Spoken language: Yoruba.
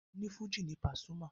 Onífújì ni Pasuma.